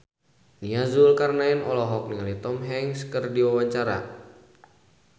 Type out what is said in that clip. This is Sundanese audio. Nia Zulkarnaen olohok ningali Tom Hanks keur diwawancara